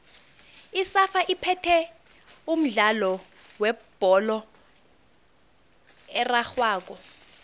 isafa iphethe umdlalo webholo erarhwako